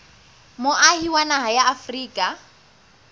moahi wa naha ya afrika